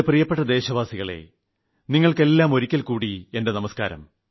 പ്രിയപ്പെട്ട എന്റെ ദേശവാസികളെ നിങ്ങൾക്കെല്ലാം ഒരിക്കൽ കൂടി എന്റെ നമസ്കാരം